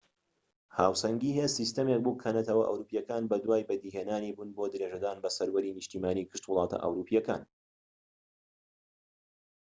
هاوسەنگی هێز سیستەمێک بوو کە نەتەوە ئەوروپیەکان بەدوای بەدی هێنانی بوون بۆ درێژەدان بە سەروەری نیشتیمانی گشت وڵاتە ئەوروپیەکان